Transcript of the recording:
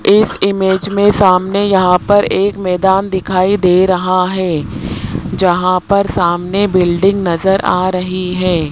इस इमेज में सामने यहां पर एक मैदान दिखाई दे रहा है जहां पर सामने बिल्डिंग नजर आ रही है।